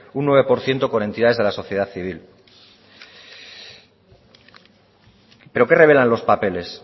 un nueve por ciento con entidades de la sociedad civil pero qué revelan los papeles